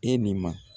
E ni ma